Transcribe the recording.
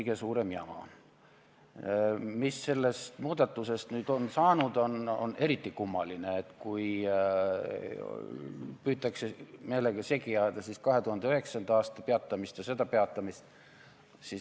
Mis puutub sellesse, mis sellest muudatusest nüüd on saanud, siis eriti kummaline on, kui püütakse meelega segi ajada 2009. aasta peatamist ja seda peatamist.